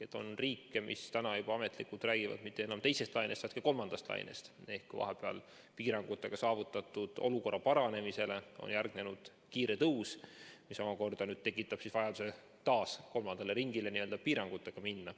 On riike, mis juba ametlikult räägivad mitte enam teisest lainest, vaid ka kolmandast lainest ehk vahepeal piirangutega saavutatud olukorra paranemisele on järgnenud kiire tõus, mis omakorda tekitab vajaduse piirangutega kolmandale ringile minna.